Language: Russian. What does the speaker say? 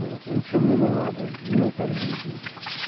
вот и ничего мне не надо мне так заибись